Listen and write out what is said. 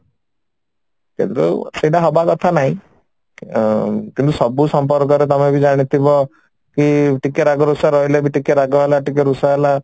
ସେଥିରୁ ସେଟା ହବା କଥା ନାଇଁ ଅ କିନ୍ତୁ ସବୁ ସମ୍ପର୍କରେ ତମେ ବି ଜାଣିଥିବ କି ଟିକେ ରାଗ ରୁଷା ରହିଲେ ବି ଟିକେ ରାଗ ହେଲା ଟିକେ ରୁଷା ହେଲା